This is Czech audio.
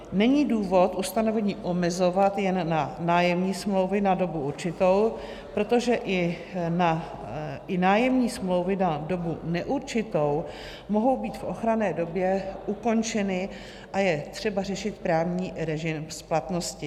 Není důvod ustanovení omezovat jen na nájemní smlouvy na dobu určitou, protože i nájemní smlouvy na dobu neurčitou mohou být v ochranné době ukončeny a je třeba řešit právní režim splatnosti.